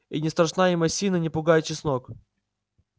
и не страшна им осина не пугает чеснок